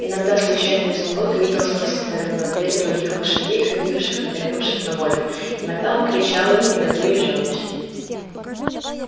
иногда случайно изумруд видел сквозь отворенную дверь других лошадей ходивших и бегавших на воле иногда он кричал им негодуя и жалуясь